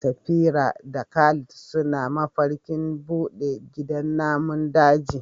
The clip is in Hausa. Safira da Khalid suna mafarkin bude gidan namun daji.